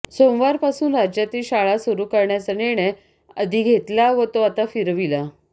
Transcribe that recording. सोमवारपासून राज्यातील शाळा सुरू करण्याचा निर्णय आधी घेतला व तो आता फिरविला